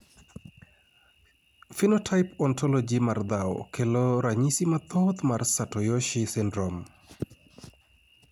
Phenotype Ontology mar dhao kelo ranyisi mathoth mar Satoyoshi syndrome